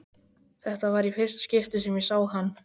Þetta var í fyrsta skipti sem ég sá hann.